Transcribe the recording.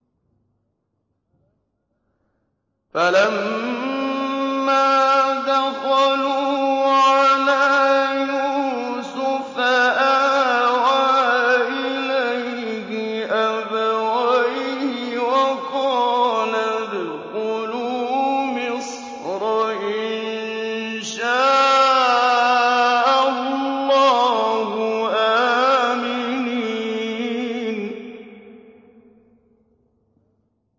فَلَمَّا دَخَلُوا عَلَىٰ يُوسُفَ آوَىٰ إِلَيْهِ أَبَوَيْهِ وَقَالَ ادْخُلُوا مِصْرَ إِن شَاءَ اللَّهُ آمِنِينَ